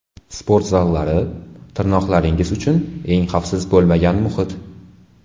Sport zallari – tirnoqlaringiz uchun eng xavfsiz bo‘lmagan muhit.